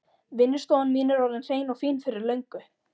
Vinnustofan mín er orðin hrein og fín fyrir löngu.